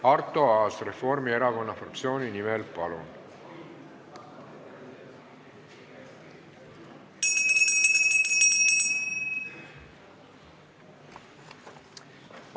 Arto Aas Reformierakonna fraktsiooni nimel, palun!